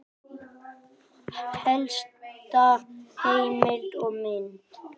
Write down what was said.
Helsta heimild og mynd